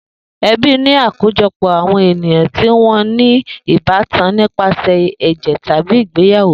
Ebí ni àkójopò àwọn ènìyàn tí wọn ní ìbátan nípasẹ̀ èjè tábí ìgbeyàwó